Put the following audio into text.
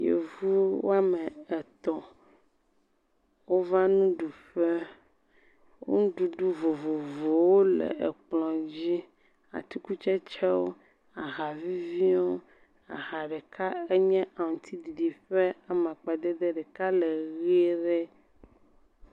Yevuwo woame etɔ̃ wova nuɖuƒe, nuɖuɖu vovovowo le ekplɔa dzi. Atikutsetsewo, ahaviviwo aha ɖeka enye aŋutiɖiɖi ƒe amakpadede ɖeka le ʋe le.